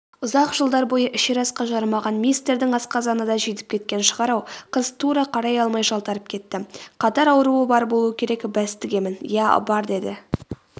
ұзақ жылдар бойы ішер асқа жарымаған мистердің асқазаны да жидіп кеткен шығар-ау қыз тура қарай алмай жалтарып кетті.катар ауруы бар болуы керек бәс тігемін.иә бар деді